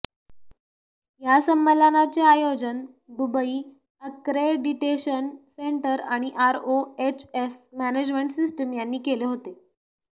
या संमेलनाचे आयोजन दुबई अक्रेडिटेशन सेंटर आणि आरओएचएस मॅनेजमेंट सिस्टीम यांनी केले होते